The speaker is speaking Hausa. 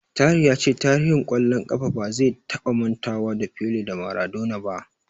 Tahir ya ce tarihin ƙwallon ƙafa ba zai taba mantawa da Pele da Maradona ba.